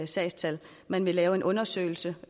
sagstal man vil lave en undersøgelse